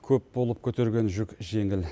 көп болып көтерген жүк жеңіл